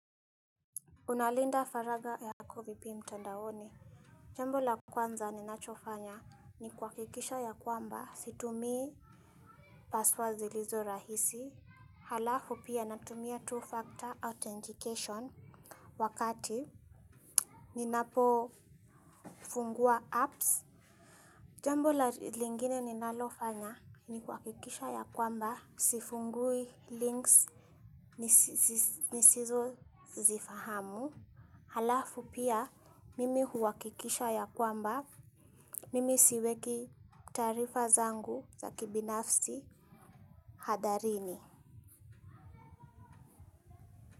Unalinda faragha yako vipi mtandaoni. Jambo la kwanza ninachofanya ni kuhakikisha ya kwamba situmii password zilizo rahisi. Halafu pia natumia two-factor authentication wakati ninapo fungua apps. Jambo la lingine ninalofanya ni kuhakikisha ya kwamba sifungui links nisizo zifahamu. Halafu pia mimi huakikisha ya kwamba mimi siweki taarifa zangu za kibinafsi hatarini.